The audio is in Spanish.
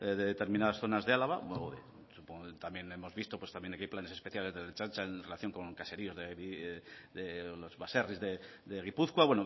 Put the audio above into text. de determinadas zonas de álava supongo que también hemos visto que hay planes especiales de la ertzaintza en relación con caseríos los baserris de gipuzkoa